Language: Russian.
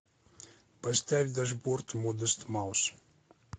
поставь дашборд модест маус